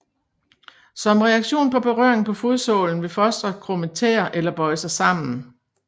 Som reaktion på berøring på fodsålen vil fostret krumme tæer eller bøje sig sammen